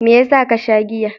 Me yasa ka sha giya?